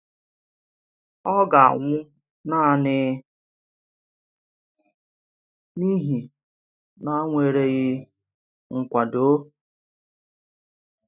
Ọ̀ gà-anwụ̀ nanị n’ihi nànwereghị nkwàdò?